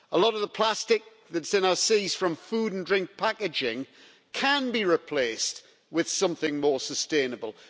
A lot of the plastic that's in our seas from food and drink packaging can be replaced with something more sustainable.